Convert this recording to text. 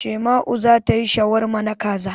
Shaima'u za ta yi shawarma na kaza.